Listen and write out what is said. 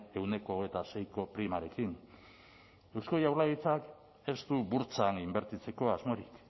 ehuneko hogeita seiko primarekin eusko jaurlaritzak ez du burtsan inbertitzeko asmorik